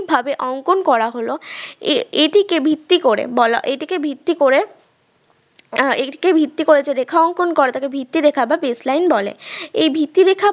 ভাবে অঙ্কন করা হল আহ এটিকে ভিত্তি করে বলা এটিকে ভিত্তি করে আহ এটিকে ভিত্তি করে রেখা অঙ্কন করাটাকে ভিত্তি রেখা বা base line বলে এই ভিত্তি রেখা